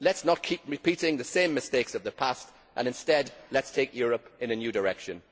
Let us not keep repeating the same mistakes of the past, and instead let us take Europe in a new direction.